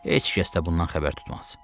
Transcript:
Heç kəs də bundan xəbər tutmaz.